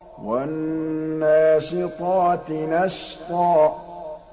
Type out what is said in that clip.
وَالنَّاشِطَاتِ نَشْطًا